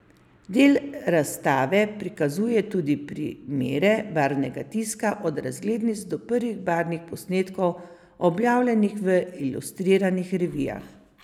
Del razstave prikazuje tudi primere barvnega tiska od razglednic do prvih barvnih posnetkov objavljenih v ilustriranih revijah.